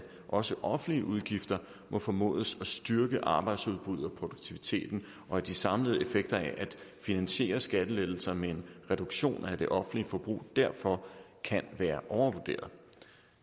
også offentlige udgifter må formodes at styrke arbejdsudbuddet og produktiviteten og at de samlede effekter af at finansiere skattelettelser med en reduktion af det offentlige forbrug derfor kan være overvurderet